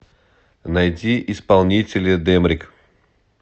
найди исполнителя дэмрик